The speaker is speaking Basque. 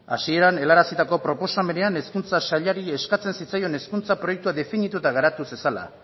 hasieran helarazitako proposamenean hezkuntza sailari eskatzen zitzaion hezkuntza proiektua definitu eta garatu zezala